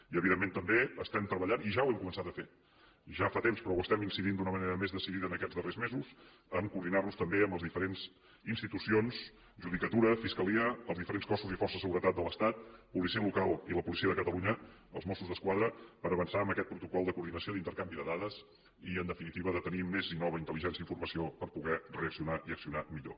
i evidentment també estem treballant i ja ho hem començat a fer ja fa temps però hi estem incidint d’una manera més decidida en aquests darrers mesos a coordinar nos també amb les diferents institucions judicatura fiscalia els diferents cossos i forces de seguretat de l’estat policia local i la policia de catalunya els mossos d’esquadra per avançar en aquest protocol de coordinació d’intercanvi de dades i en definitiva de tenir més i nova intel·ligència i informació per poder reaccionar i accionar millor